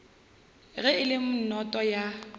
ge e le noto ya